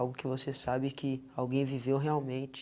Algo que você sabe que alguém viveu realmente.